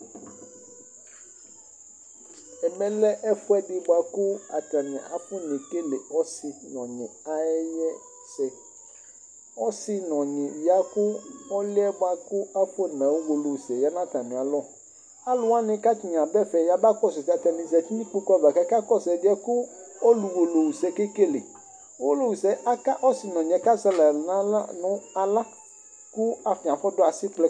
Ɛmɛlɛ lɛ ɛfʋɛdi bʋakʋ atani afɔne ekele ɔsi nʋ ɔnyi ayʋ ɛsɛ Ɔsi nʋ ɔnyi yɛ ya kʋ ɔli yɛ kʋ afɔ naɣa Uwolowu sɛ ya nʋ atami alɔ Alu wani kʋ atani aba ɛfɛ yaba kɔsu Atani zɛti nʋ ikpoku ava kʋ akakɔsu ɛdiɛ bʋakʋ ɔlu ɣa Uwolowu sɛ ɔke kele Ɔlu ɣa Uwolowu aka kʋ ɔsi nʋ ɔnyi yɛ azɛ alɛ nʋ aɣla kʋ atani fɔ du asikplɛ